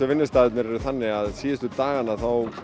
vinnustaðirnir eru þannig að síðustu dagana